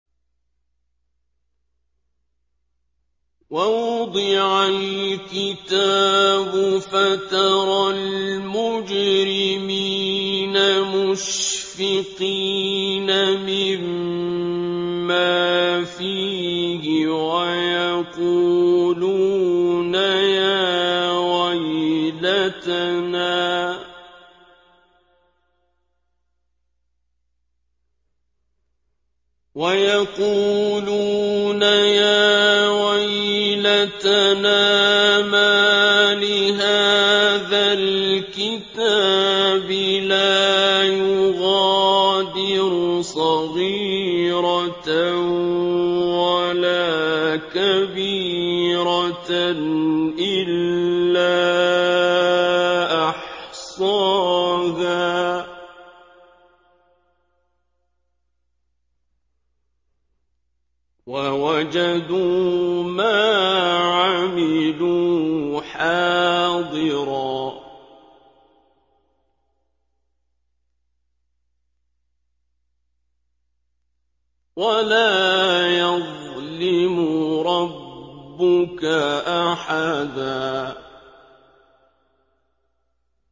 وَوُضِعَ الْكِتَابُ فَتَرَى الْمُجْرِمِينَ مُشْفِقِينَ مِمَّا فِيهِ وَيَقُولُونَ يَا وَيْلَتَنَا مَالِ هَٰذَا الْكِتَابِ لَا يُغَادِرُ صَغِيرَةً وَلَا كَبِيرَةً إِلَّا أَحْصَاهَا ۚ وَوَجَدُوا مَا عَمِلُوا حَاضِرًا ۗ وَلَا يَظْلِمُ رَبُّكَ أَحَدًا